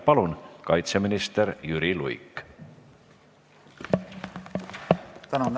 Palun, kaitseminister Jüri Luik!